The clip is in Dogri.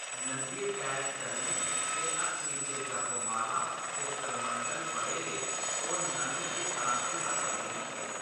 नंगे पैर चलने ते हत्थें च जप माला ते करमंडल फड़े दे, ओह्‌‌ नंद ते शान्ति दा प्रतीक ऐ।